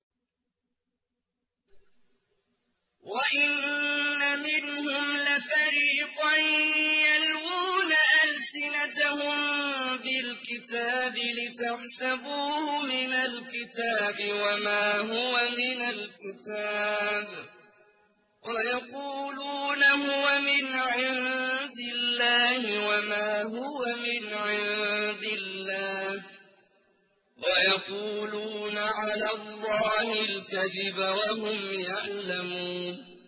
وَإِنَّ مِنْهُمْ لَفَرِيقًا يَلْوُونَ أَلْسِنَتَهُم بِالْكِتَابِ لِتَحْسَبُوهُ مِنَ الْكِتَابِ وَمَا هُوَ مِنَ الْكِتَابِ وَيَقُولُونَ هُوَ مِنْ عِندِ اللَّهِ وَمَا هُوَ مِنْ عِندِ اللَّهِ وَيَقُولُونَ عَلَى اللَّهِ الْكَذِبَ وَهُمْ يَعْلَمُونَ